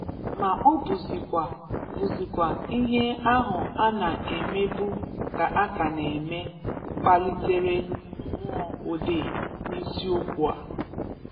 ma ọ bụzịkwa bụzịkwa ihe ahụ a na-emebu ka a ka na-eme, kpalitere mmụọ odee n’isi okwu a.